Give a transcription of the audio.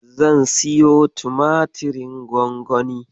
Zan siyo tumatirin gwangwani.